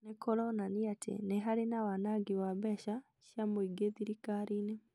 nĩkũronania atĩ nĩ harĩ na wanangi wa mbeca cia mũingĩ thirikariinĩ